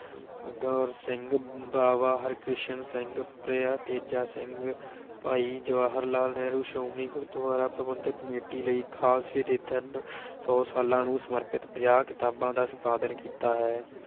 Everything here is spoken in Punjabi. ਕੌਰ ਸਿੰਘ, ਬਾਵਾ ਹਰਕਿਸ਼ਨ ਸਿੰਘ, ਪ੍ਰਿਆ ਤੇਜਾ ਸਿੰਘ ਭਾਈ ਜਵਾਹਰ ਲਾਲ ਨਹਿਰੂ, ਸ਼੍ਰੋਮਣੀ ਗੁਰਦੁਆਰਾ ਪ੍ਰਬੰਧਕ ਕਮੇਟੀ ਲਈ ਖਾਲਸੇ ਦੇ ਤਿੰਨ ਸੌ ਸਾਲਾਂ ਨੂੰ ਸਮਰਪਿਤ ਪੰਜਾਹ ਕਿਤਾਬਾਂ ਦਾ ਸੰਪਾਦਨ ਕੀਤਾ ਹੈ।